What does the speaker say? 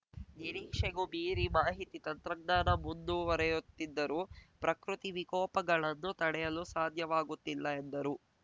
ನಿರೀಕ್ಷೆಗೂ ಮೀರಿ ಮಾಹಿತಿ ತಂತ್ರಜ್ಞಾನ ಮುಂದುವರೆಯುತ್ತಿದ್ದರೂ ಪ್ರಕೃತಿ ವಿಕೋಪಗಳನ್ನು ತಡೆಯಲು ಸಾಧ್ಯವಾಗುತ್ತಿಲ್ಲ ಎಂದರು